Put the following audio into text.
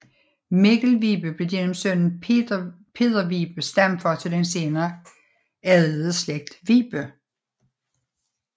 Mikkel Vibe blev gennem sønnen Peder Vibe stamfar til den senere adlede slægt Vibe